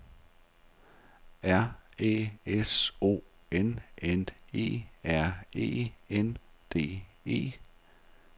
R Æ S O N N E R E N D E